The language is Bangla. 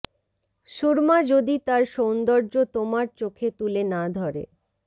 সুরমা যদি তার সৌন্দর্য তোমার চোখে তুলে না ধরে